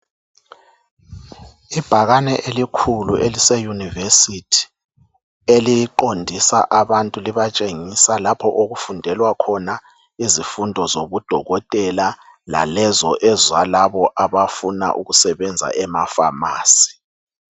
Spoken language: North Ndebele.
Ibhakane elikhulu elise university, eliqondisa abantu libatshengisa lapho okufundelwa khona izifundo zobudokotela lalezo ezalabo abafuna ukusebenza ema pharmacy